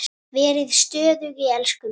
Verið stöðug í elsku minni.